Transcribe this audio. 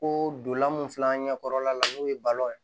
Ko dolan mun filɛ an ɲɛkɔrɔla la n'o ye balo ye